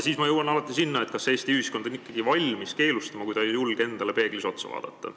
Siis ma jõuan alati sinna, kas Eesti ühiskond on ikkagi keelustamiseks valmis, kui ta ei julge endale peeglis otsa vaadata.